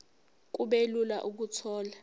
kube lula ukuthola